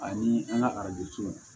Ani an ka arajosow